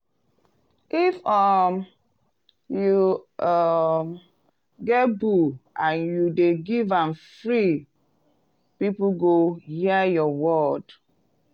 if um you um get bull and you dey give am free people go hear your word.